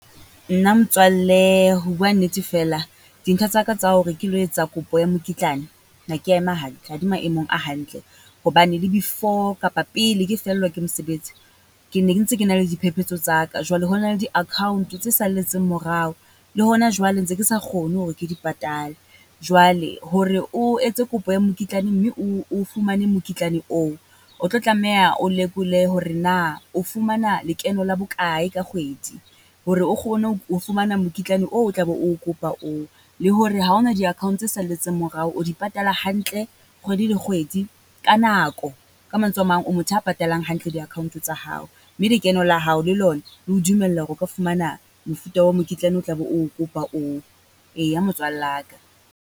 Nna motswalle ho bua nnete feela dintho tsa ka tsa hore ke lo etsa kopo ya mokitlane, ha ke ya ema hantle, ha di maemong a hantle hobane le before kapa pele ke fellwa ke mosebetsi. Ke ne ke ntse ke na le diphephetso tsa ka. Jwale ho na le di-account tse salletseng morao, le hona jwale ntse ke sa kgone hore ke di patale. Jwale hore o etse kopo ya mokitlane mme o fumane mokitlane oo, o tlo tlameha o lekole hore na o fumana lekeno la bokae ka kgwedi, hore o kgone ho fumana mokitlane oo o tla be o kopa oo. Le hore ha o na di-account tse salletseng morao, o di patala hantle kgwedi le kgwedi ka nako. Ka mantswe a mang, o motho a patalang hantle di-account tsa hao, mme lekeno la hao le lona le ho dumella hore o ka fumana mofuta wa mokitlane o kopa oo, eya motswalla ka.